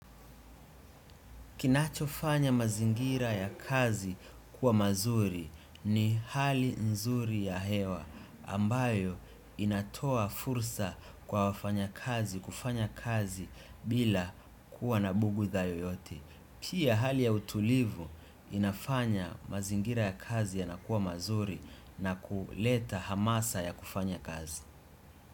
Kinachofanya mazingira ya kazi kuwa mazuri ni hali nzuri ya hewa ambayo inatoa fursa kwa wafanya kazi, kufanya kazi bila kuwa na bugdha yoyote. Pia hali ya utulivu inafanya mazingira ya kazi yanakuwa mazuri na kuleta hamasa ya kufanya kazi.